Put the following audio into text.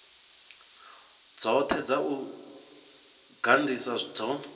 dzothe dza u gandiswa dzo